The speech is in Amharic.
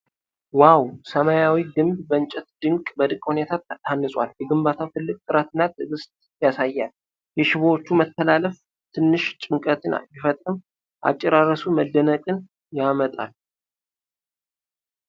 ዋው! ሰማያዊው ግንብ በእንጨት በድንቅ ሁኔታ ታንጿል። ግንባታው ትልቅ ጥረትና ትዕግስት ያሳያል። የሽቦዎቹ መተላለፍ ትንሽ ጭንቀትን ቢፈጥርም፣ አጨራረሱ መደነቅን ያመጣል።